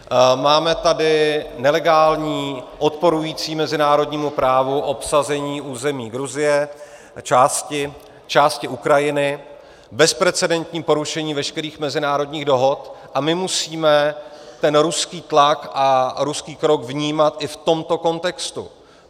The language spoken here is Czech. Máme tady nelegální, odporující mezinárodnímu právu, obsazení území Gruzie a části Ukrajiny, bezprecedentní porušení veškerých mezinárodních dohod, a my musíme ten ruský tlak a ruský krok vnímat i v tomto kontextu.